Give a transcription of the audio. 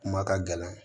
Kuma ka gɛlɛn